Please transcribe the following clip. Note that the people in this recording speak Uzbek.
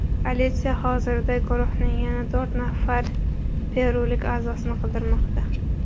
Politsiya hozirda guruhning yana to‘rt nafar perulik a’zosini qidirmoqda.